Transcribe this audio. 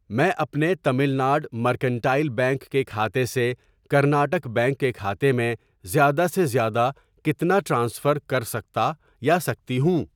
میں اپنے Tamil Nadu Mercantile Bank کےکھاتے سے کرناٹک بینک کے کھاتے میں زیادہ سے زیادہ کتنا ٹرانسفر کرسکتا یا سکتی ہوں؟